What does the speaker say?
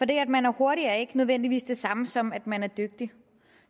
det at man er hurtig er ikke nødvendigvis det samme som at man er dygtig